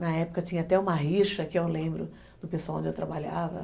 Na época tinha até uma rixa, que eu lembro do pessoal onde eu trabalhava.